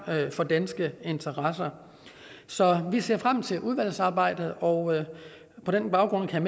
for danske interesser så vi ser frem til udvalgsarbejdet og på den baggrund kan